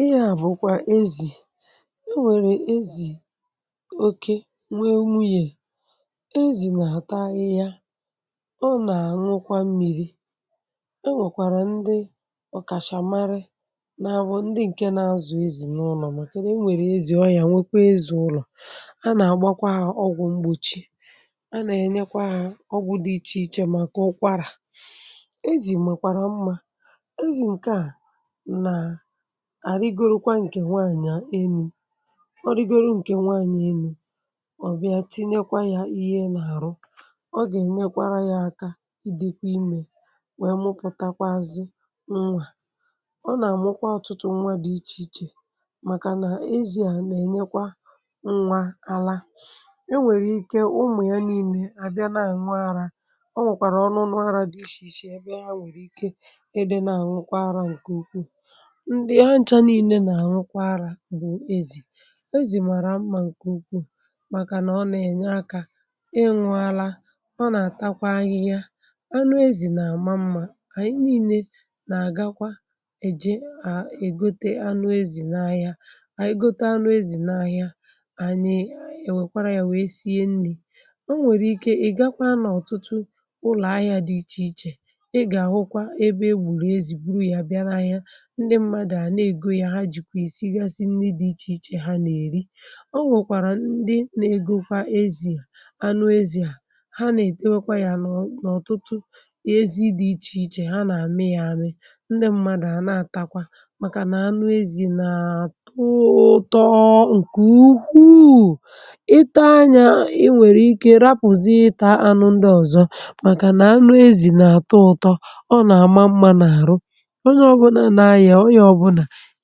ihe à bụ̀kwa ezì e nwèrè ezì oke nwe nwunyè ezì na-àta ahịhia ọ nà-ànwụkwa mmiri̇ e nwèkwàrà ndị ọ̀kàchàmarị n’abụ ndị ǹke na-azụ̀ ezì n’ụlọ̀ màka na e nwèrè ezì ọhià nwekwa ezì ụlọ̀ a nà-àgbakwa ọgwụ̀ mgbòchi a nà-ènyekwa ọgwụ̀ dị ichè ichè màkà ụkwarà ezì makwàrà mmȧ ezì ǹke à àrigorukwa ǹkè nwaànyị̀ a enu̇ ọrigoro ǹkè nwaànyị̀ enu̇ ọ̀bịà tinyekwa yȧ ihe nȧ àrụ ọ gà-ènyekwara yȧ aka idikwa imè nwèe mụpụ̀takwazị nnwà ọ nà-àmụkwa ọ̀tụtụ nnwa dị̇ ichè ichè màkà nà ezi̇a nà-ènyekwa nnwa ala e nwèrè ike umù ya niilė à bịa na-àñụ arȧ ọ nwèkwàrà ọṅụnụara dị ichèichè èbe ya nwèrè ike e dị na-àñụkwa ara ǹkè ukwuù ndi aja niilė nà rukwa ara bụ̀ ezì ezi màrà mmȧ ǹkè ukwuù màkànà ọ nà ẹ̀nyẹ akȧ ịṅụȧ ala ọ nà àtakwa ahịhịa anụ ezì nà àma mmȧ ànyị niilė nà àgakwa èje à è gote anụ ezì na ahịa ànyị gote anụ ezì na ahịa ànyị ènwèkwara yȧ wèe sie nli̇ o nwèrè ike ị̀ gakwa n’ọ̀tụtụ ụlọ̀ ahịa dị ichè ichè ị gà àhụkwa ebe e gbùrù ezì buru ya bịa n’ahịa ndi mmadu a na ego ya ihe à na-egȯ yà ha jìkwà ìsígasi ndị dị̇ ichè ichè ha nà-èri ọ nwèkwàrà ndị na-egȯ kwa ezì anụezì à ha nà-ètewekwa yȧ n’ọ̀tụtụ ihe ezi dị̇ ichè ichè ha nà-àme yȧ ȧme ndị mmadụ̀ à na-àtakwa màkà nà anụ ezì na-àtọ ụtọ ǹkè ukwuuu ị taa nyȧ i nwèrè ike rapụ̀zịta anụ ndị ọ̀zọ màkà nà anụ ezì na-àtọ ụtọ ọ nà-àma mmȧ n’àrụ onye obula n'aya oya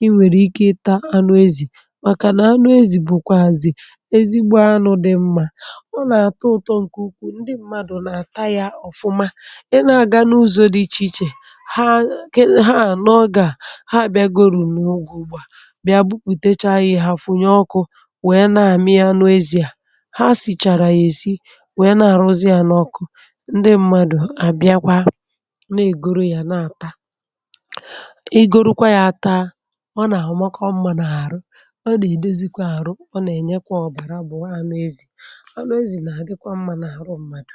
iwèrè ike ta anụ ezì màkà nà anụ ezì bụ̀kwà àzị̀ ezigbo anụ̇ dị mmȧ ọ nà-àtọ ụ̀tọ ǹkè ukwu ndị mmadụ̀ nà-àta ya ọ̀fụma ị na-aga n’ụzọ̇ dị ichè ichè ha ha ànọ ọgȧ ha bịa gorȯ n’ogè ùgbà bịa bupùtecha ihe ha funye ọkụ̇ wèe na-àmị ya anụ ezì à ha sìchàrà yà-èsi wèe na-àrụzị ya n’ọkụ ndị mmadụ̀ àbịakwa na-ègoro yà na-àta um igorokwa ya taa ọ nà amakwamma n'aru ọ nà-èdozi kwà arụ ọ nà-ènyekwa ọ̀bàrà bụ̀ anụ ezi̇ anụ ezi̇ nà-àdịkwa mmȧ n’àrụ mmadù